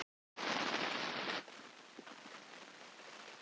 Ingveldur: Var valið erfitt?